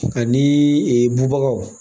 Ani bubagaw